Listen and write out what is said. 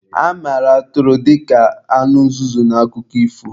A mara Atụrụ dịka anụ nzuzu n'akụkọ ifo.